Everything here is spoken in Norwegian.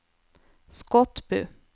Skotbu